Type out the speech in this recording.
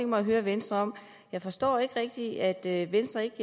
mig at høre venstre om jeg forstår ikke rigtig at venstre ikke